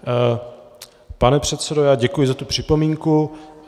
Pane předsedo, já děkuji za tu připomínku.